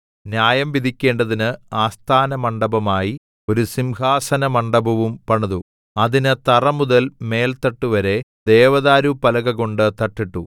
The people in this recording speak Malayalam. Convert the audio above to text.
ന്യായം വിധിക്കേണ്ടതിന് ആസ്ഥാനമണ്ഡപമായി ഒരു സിംഹാസനമണ്ഡപവും പണിതു അതിന് തറ മുതൽ മേൽത്തട്ടു വരെ ദേവദാരുപ്പലകകൊണ്ട് തട്ടിട്ടു